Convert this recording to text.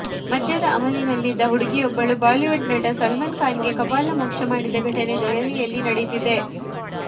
ಮದ್ಯದ ಅಮಲಿನಲ್ಲಿದ್ದ ಹುಡುಗಿಯೊಬ್ಬಳು ಬಾಲಿವುಡ್ ನಟ ಸಲ್ಮಾನ್ ಖಾನ್ ಗೆ ಕಪಾಳಮೋಕ್ಷ ಮಾಡಿದ ಘಟನೆ ದೆಹಲಿಯಲ್ಲಿ ನಡೆದಿದೆ